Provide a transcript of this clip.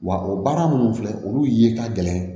Wa o baara minnu filɛ olu ye ka gɛlɛn